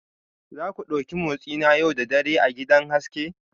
Za ku ɗauki motsi na yau da dare a gidan haske